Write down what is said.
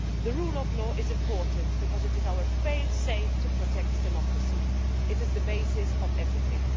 The rule of law is important because it is our fail-safe to protect democracy. It is the basis of everything.